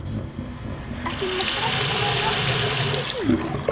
Ekki nema þrettán ára og gestir heima!